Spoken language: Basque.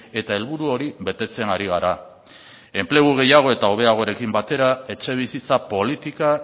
eta helburu hori betetzen ari gara enplegua gehiago eta hobeagoarekin batera etxebizitza politika